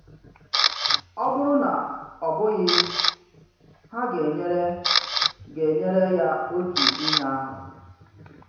Ọ bụrụ na ọ bụghị, ha ga-enyere ga-enyere ya otu ihe ahụ.